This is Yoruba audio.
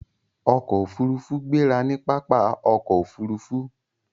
ọkọ òfurufú gbéra ní pápá ọkọ̀ òfurufú.